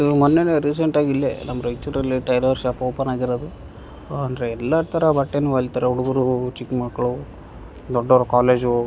ಇದು ಮೊನ್ನೆನೇ ರೀಸೆಂಟಾಗಿ ಇಲ್ಲೇ ನಮ್ ರಯ್ಚೂರಲ್ಲಿ ಟೈಲರ್ ಶಾಪ್ ಓಪನ್ ಆಗಿರೋದು ಆಹ್ಹ್ ಅಂದ್ರೆ ಎಲ್ಲ ತರ ಬಟ್ಟೇನೂ ಹೊಲಿತಾರೆ ಹುಡುಗ್ರುಹು ಚಿಕ್ಕ್ ಮಕ್ಳು ದೊಡ್ಡೋರ್ ಕಾಲೇಜು --